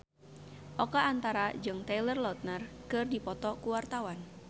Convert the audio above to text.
Oka Antara jeung Taylor Lautner keur dipoto ku wartawan